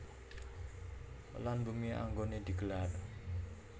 Lan bumi anggoné di gelar